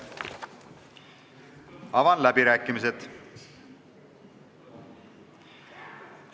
Avan läbirääkimised.